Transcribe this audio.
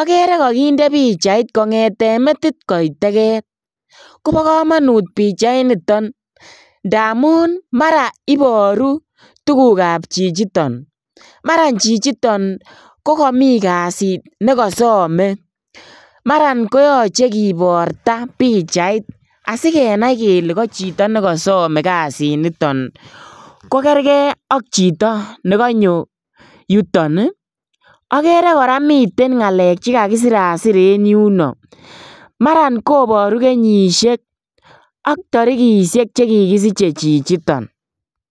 okere kokinde pichait kongeten metit koit teket kobo komonut pichainiton ndamun mara iboru tugukab chichiton, maran chichiton kokomin kasit nekosome, maran koyoche kibarta pichait asikenai kele chito nekosome kasiniton kokerker ak chito nekonyo yuton ii, okere koraa miten ngalek chekakisirasir en yuno maran koboru kenyishek ak torikishek che kikisiche chichiton.